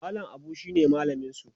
mallam Abu shine mallaminsu